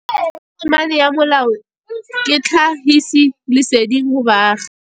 Tokomane ya molao ke tlhagisi lesedi go baagi.